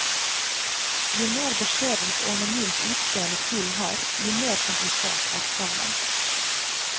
Jo mer beskjedent og anonymt utseende fuglen har, jo mer komplisert er sangen.